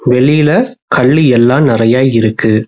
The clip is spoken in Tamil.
வெளியில கல்லு எல்லா நெறையா இருக்கு.